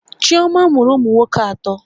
Chioma mụrụ ụmụ nwoke atọ